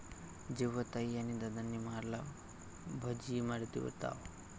...जेव्हा ताई आणि दादांनी मारला भजी, इमरतीवर ताव